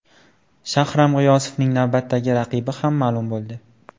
Shahram G‘iyosovning navbatdagi raqibi ham ma’lum bo‘ldi.